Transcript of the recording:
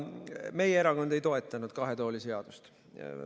Meie erakond ei toetanud kahe tooli seadust.